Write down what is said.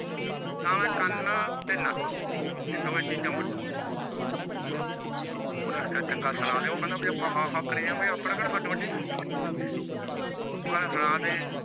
ਨਾਲ ਇਹ ਕੰਨ ਤੇ ਨਕ ਏ ਦੋਵੇਂ ਚੀਜਾਂ ਵਢੂੰਗਾ ਤੇਰੀ ਓਹਨੇ ਆਖਿਆ ਚੰਗਾ ਆਪਾਂ ਹਾਂ ਹਾਂ ਕਰੀ ਜਾਵੇ ਆਪਣਾ ਕੇਡਾ ਵੱਢੀਦਾ ਉਹ ਕਹਿੰਦਾ ਸੁਣਾ ਦੇ